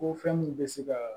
Ko fɛn mun bɛ se kaa